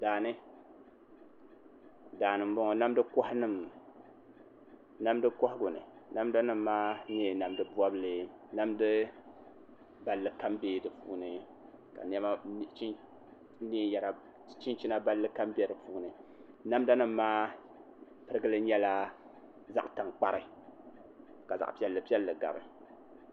Daani n bɔŋɔ namdi kohagu ni namda nim maa nyɛla namdi bobli namda balli kam biɛla di puuni ka chinchina balli kam bɛ di puuni namda nim maa pirigili nyɛla zaɣ tankpari ka zaɣ piɛlli piɛlli gabi